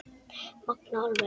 Magnað alveg